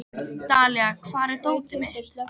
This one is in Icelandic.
Dalía, hvar er dótið mitt?